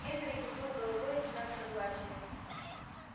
генри кивнул головой в знак согласия